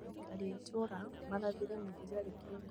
Aikari a itũra marathire mũthigari kĩongo